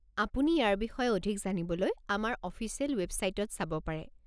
আপুনি ইয়াৰ বিষয়ে অধিক জানিবলৈ আমাৰ অফিচিয়েল ৱেবচাইটত চাব পাৰে।